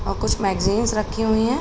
औ कुछ मैंग्जींस रखी हुईं हैं।